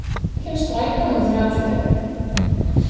Linddís, hvenær kemur strætó númer þrjátíu og fimm?